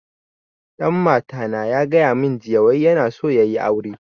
Dan mata na ya gaya mun jiya wai yana so ya yi aure